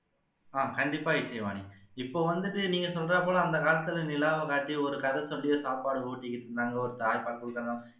ஆஹ் கண்டிப்பா இசைவாணி இப்போ வந்துட்டு நீங்க சொல்ற போலஅந்த காலத்துல நிலாவை காட்டி கதை சொல்லியே சாப்பாடு ஊட்டிக்கிட்டு இருந்தாங்க ஒரு தாய் நம்மளுக்கெல்லாம்